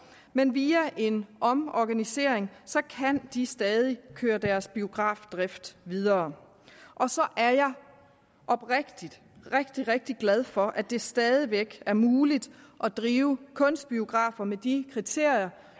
men via en omorganisering kan de stadig køre deres biografdrift videre og så er jeg oprigtigt rigtig rigtig glad for at det stadig væk er muligt at drive kunstbiografer med de kriterier